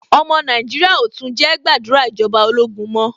Ọmọ Nàìjíríà ò tún jẹ́ gbàdúrà ìjọba ológun mọ́.